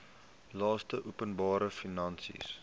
laste openbare finansiële